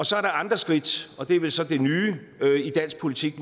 så er der andre skridt og det er vel så måske det nye i dansk politik